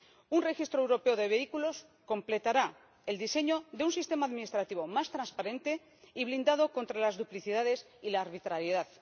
Un registro europeo de vehículos completará el diseño de un sistema administrativo más transparente y blindado contra las duplicidades y la arbitrariedad.